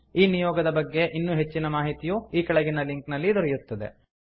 ಈ ನಿಯೋಗದ ಬಗ್ಗೆ ಇನ್ನೂ ಹೆಚ್ಚಿನ ಮಾಹಿತಿಯು ಕೆಳಗಿನ ಲಿಂಕ್ ನಲ್ಲಿ ದೊರೆಯುತ್ತದೆ